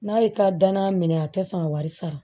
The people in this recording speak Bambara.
N'a ye ka danna minɛ a tɛ sɔn ka wari sara